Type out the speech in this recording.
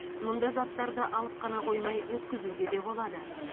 мұнда заттарды алып қана қоймай өткізуге де болады